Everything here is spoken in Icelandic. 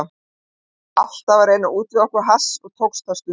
Við vorum alltaf að reyna að útvega okkur hass og tókst það stundum.